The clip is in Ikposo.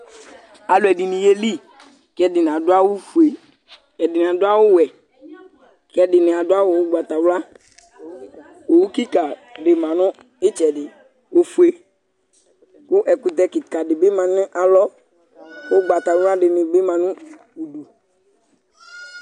Alʋ ɛdini yeli k'ɛdini adʋ awʋ fue, ɛdini adʋ awʋ wɛ, k'ɛdini adʋ awʋ ʋgbatawla Owu kika di manʋ itsɛdi, ofue kʋ ɛkʋtɛ kika di bi manʋ alɔ, ʋgbatawla dini bi ma nʋ udu